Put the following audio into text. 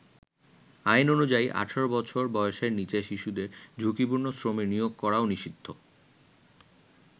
আইন অনুযায়ী ১৮ বছর বয়েসের নীচের শিশুদের ঝুঁকিপূর্ণ শ্রমে নিয়োগ করাও নিষিদ্ধ।